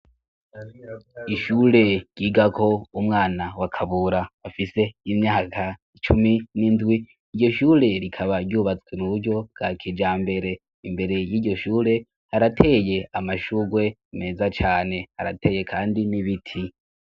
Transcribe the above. Ishure ryiga ko umwana wakabura bafise imyaka icumi n'indwi iryo shure rikaba ryubatswe mu buryo bwa kija mbere imbere y'iryo shure arateye amashurwe meza cane arateye, kandi mibiti.